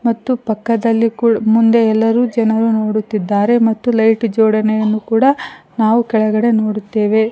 ಮತ್ತು ಪಕ್ಕದಲ್ಲಿ ಕುಳ್ ಮುಂದೆ ಎಲ್ಲರೂ ಜನರು ನೋಡುತ್ತಿದ್ದಾರೆ ಮತ್ತು ಲೈಟು ಜೋಡಣೆ ಕೂಡ ನಾವು ಕೆಳಗಡೆ ನೋಡುತ್ತೆವೆ.